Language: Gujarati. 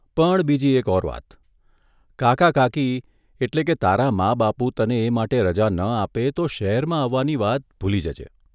પણ બીજી એક ઓર વાત કાકા કાકી એટલે કે તારાં મા બાપુ તને એ માટે રજા ન આપે તો શહેરમાં આવવાની વાત ભૂલી જજે.